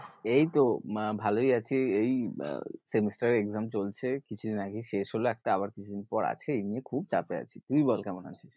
এই তো উম ভালোই আছি এই semester এর exam চলছে, কিছুদিন আগেই শেষ হলো একটা আবার কিছুদিন পর আছে এই নিয়ে খুব চাপে আছি। তুই বল কেমন আছিস?